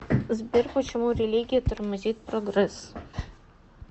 сбер почему религия тормозит прогресс